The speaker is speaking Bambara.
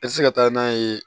I tɛ se ka taa n'a ye